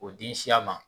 O den siya ma